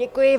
Děkuji.